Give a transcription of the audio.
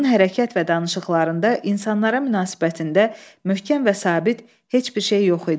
Onun hərəkət və danışıqlarında, insanlara münasibətində möhkəm və sabit heç bir şey yox idi.